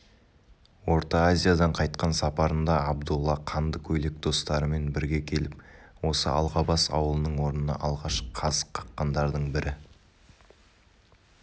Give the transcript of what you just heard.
орта азиядан қайтқан сапарында абдолла қанды көйлек достарымен бірге келіп осы алғабас ауылының орнына алғашқы қазық қаққандардың бірі